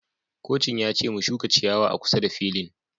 Kocin ya ce mu shuka ciyawa a kusa da filin